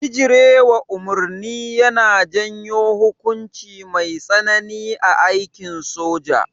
Bijirewa umarni yana janyo hukunci mai tsanani a aikin soja